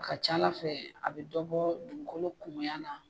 Ka ca ala fɛ a be dɔ bɔ dugukolo kumuya na.